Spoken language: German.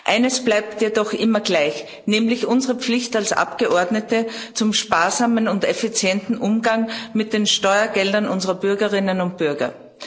Eines bleibt jedoch immer gleich, nämlich unsere Pflicht als Abgeordnete zum sparsamen und effizienten Umgang mit den Steuergeldern unserer Bürgerinnen und Bürger.